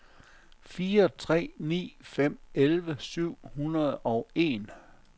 fire tre ni fem elleve syv hundrede og en